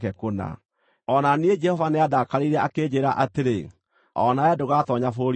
O na niĩ Jehova nĩandakarĩire akĩnjĩĩra atĩrĩ, “O nawe ndũgatoonya bũrũri ũcio.